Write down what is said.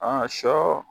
Aa sɔ